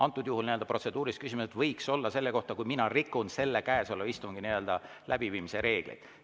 " Antud juhul võiksid protseduurilised küsimused olla selle kohta, kui mina rikun käesoleva istungi läbiviimise reegleid.